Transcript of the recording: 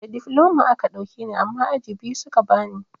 Da difloma a ka ɗauke ni amma aji biyu suka bani.